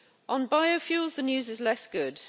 On biofuels, the news is less good.